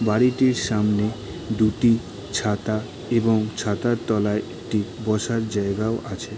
বাড়িটির সামনে দুটি ছাতা এবং ছাতার তলায় একটি বসার জায়গাও আছে।